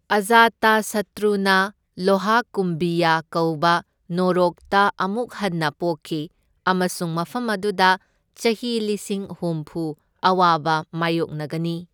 ꯑꯖꯥꯇꯁꯠꯇ꯭ꯔꯨꯅ ꯂꯣꯍꯥꯀꯨꯝꯚꯤꯌꯥ ꯀꯧꯕ ꯅꯣꯔꯣꯛꯇ ꯑꯃꯨꯛ ꯍꯟꯅ ꯄꯣꯛꯈꯤ ꯑꯃꯁꯨꯡ ꯃꯐꯝ ꯑꯗꯨꯗ ꯆꯍꯤ ꯂꯤꯁꯤꯡ ꯍꯨꯝꯐꯨ ꯑꯋꯥꯕ ꯃꯥꯢꯌꯣꯛꯅꯒꯅꯤ꯫